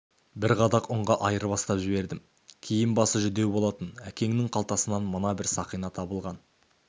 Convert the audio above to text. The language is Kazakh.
бір қадақ ұнға айырбастап жібердім киім-басы жүдеу болатын әкеңнің қалтасынан мына бір сақина табылған